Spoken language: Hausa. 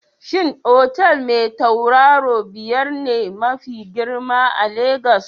Shin otal Mai tauraru biyar ne mafi girma a Lagos?